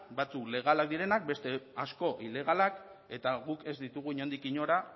batzuk legalak direnak eta beste asko ilegalak eta guk ez ditugu inondik inora